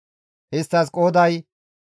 Isttas qooday 40,500.